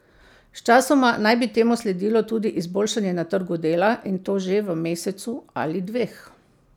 Sčasoma naj bi temu sledilo tudi izboljšanje na trgu dela, in to že v mesecu ali dveh.